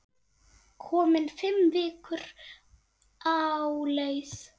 Komin fimm vikur á leið.